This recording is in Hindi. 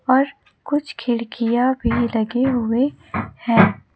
और कुछ खिड़कियां भी लगे हुए हैं।